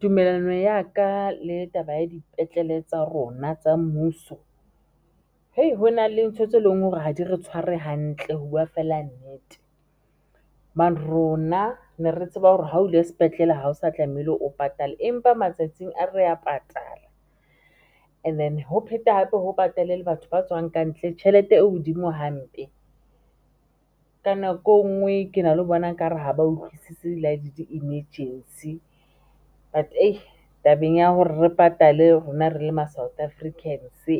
Tumelano ya ka le taba ya dipetlele tsa rona tsa mmuso hona le ntho tse leng hore ha di re tshware hantle ho buwa fela nnete rona ne re tseba hore ha o ile sepetlele ha o sa tlamehile o patale, empa matsatsing a re ya patala and then ho phete hape ho patale le batho ba tswang kantle tjhelete e hodimo hampe. Ka nako e ngwe ke na le ho bona ekare ha ba utlwisisi le di-emergency but tabeng ya hore re patale, rona re le ma South Africans ha